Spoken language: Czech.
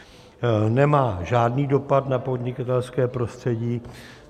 Nemá žádný dopad na podnikatelské prostředí.